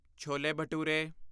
chole bhature